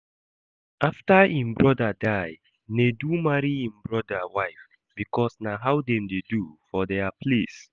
After im brother die, Nedu marry im brother wife because na how dem dey do for dia place